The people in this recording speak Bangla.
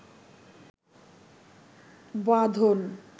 বাঁধন